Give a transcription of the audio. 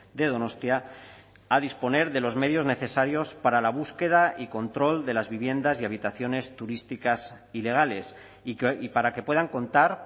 de donostia a disponer de los medios necesarios para la búsqueda y control de las viviendas y habitaciones turísticas ilegales y para que puedan contar